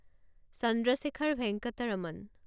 Chandrashekhar Venkata Raman